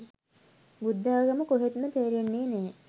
බුද්දාගම කොහෙත්ම තේරෙන්නේ නැහැ.